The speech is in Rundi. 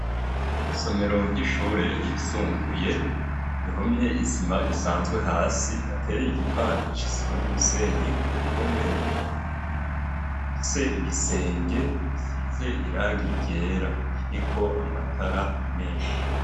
Isomero ry'ishure yisumbuye ihomye isima isanzwe hasi iteye igipande c'isima n'umusenyi ku mpome ifise igisenge gisize irangi ryera kiriko amatara meshi.